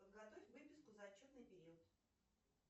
подготовь выписку за отчетный период